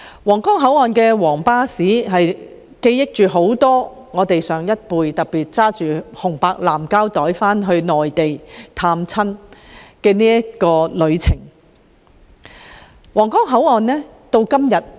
皇崗口岸的皇巴士，盛載了很多上一輩港人拿着紅白藍膠袋，踏上返回內地探親之旅的記憶。